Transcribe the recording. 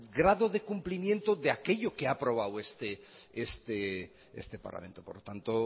grado de cumplimiento de aquello que ha aprobado este parlamento por lo tanto